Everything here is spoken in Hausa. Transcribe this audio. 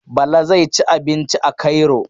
Bala zai ci abinci a Cairo.